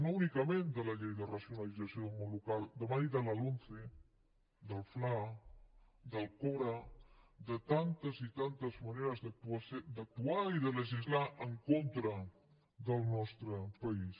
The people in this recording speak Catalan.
no únicament de la llei de racionalització del món local demani de la lomce del fla del cora de tantes i tantes maneres d’actuar i de legislar en contra del nostre país